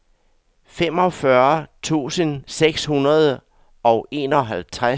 femogfyrre tusind seks hundrede og enoghalvtreds